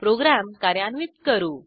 program कार्यान्वित करू